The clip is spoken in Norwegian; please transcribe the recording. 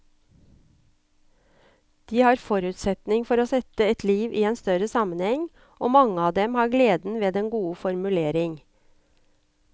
De har forutsetning for å sette et liv inn i en større sammenheng, og mange av dem har gleden ved den gode formulering.